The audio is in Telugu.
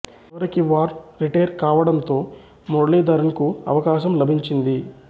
చివరికి వార్న్ రిటైర్ కావడంతో మరళీధరన్ కు అవకాశం లభించింది